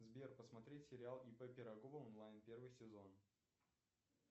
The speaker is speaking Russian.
сбер посмотреть сериал ип пирогова онлайн первый сезон